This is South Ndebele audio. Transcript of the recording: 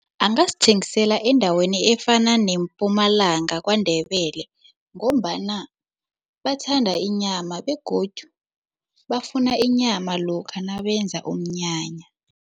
Angazithengisela endaweni efana neMpumalanga KwaNdebele ngombana bathanda inyama begodu bafuna inyama lokha nabenza umnyanya.